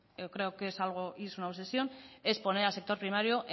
y no es una obsesión es poner al sector primario